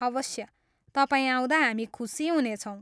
अवश्य, तपाईँ आउँदा हामी खुसी हुनेछौँ।